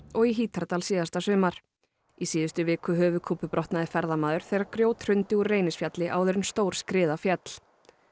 og í Hítardal síðasta sumar í síðustu viku höfuðkúpubrotnaði ferðamaður þegar grjót hrundi úr Reynisfjalli áður en stór skriða féll